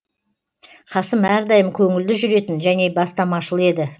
қасым әрдайым көңілді жүретін және бастамашыл еді